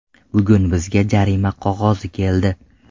Bugun bizga jarima qog‘ozi keldi.